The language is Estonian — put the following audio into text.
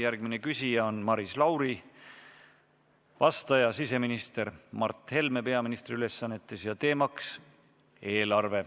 Järgmine küsija on Maris Lauri, vastaja siseminister Mart Helme peaministri ülesannetes ja teemaks eelarve.